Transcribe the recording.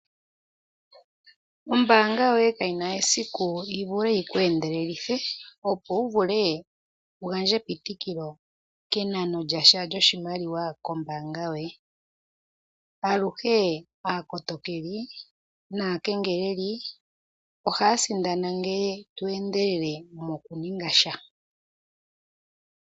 Ombaanga yoye kayina esiku yivule yi uku endelelelithe opo wuvule wugandje epitikilo kenano lyasha lyoshimaliwa kombaanga yoye ,aluhe aakotokeli naa kengeleli ohaya sindana ngele to endelele noku ningasha